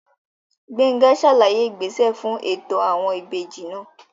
Gbénga sàlàyé ìgbésẹ fún ètò àwọn ìbejì náà